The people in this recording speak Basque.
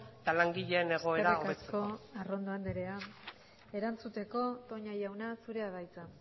eta langileen egoera hobetzeko eskerrik asko arrondo andrea erantzuteko toña jauna zurea da hitza